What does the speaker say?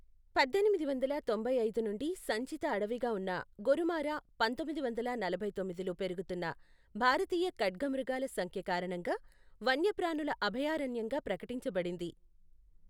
పద్దెనిమిది వందల తొంభై ఐదు నుండి సంచిత అడవిగా ఉన్న గోరుమారా పంథొమ్మిది వందల నలభై తొమ్మిదిలో పెరుగుతున్న భారతీయ ఖడ్గమృగాల సంఖ్య కారణంగా వన్యప్రాణుల అభయారణ్యంగా ప్రకటించబడింది.